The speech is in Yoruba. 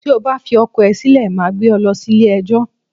Tí o bá fi ọkọ ẹ sílè, màá gbé e lọ ilẹ̀ ẹjọ́